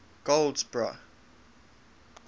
goldsboro